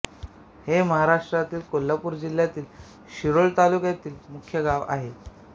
हे महाराष्ट्रातील कोल्हापूर जिल्ह्यातील शिरोळ तालुक्याचे मुख्य गाव आहे